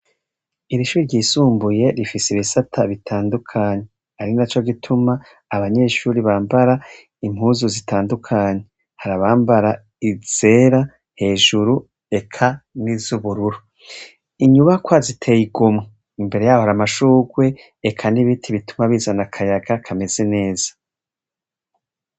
Iri shuri ryisumbuye ,rifise ibisata bitandujkanye, arinaco gituma abanyeshure bambara impuzu zitandukanye. Harabambara izera ,hejuru eka nizubururu. Inyubakwa ziteye igomwe . Imbere yaho har'amashugwe eka nibiti bituma bizana akayaga kameze neza.